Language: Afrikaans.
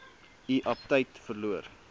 u aptyt verloor